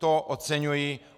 To oceňuji.